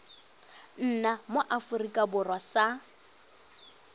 nna mo aforika borwa sa